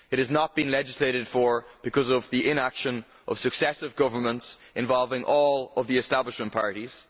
It has not been legislated for because of the inaction of successive governments involving all of the establishment parties.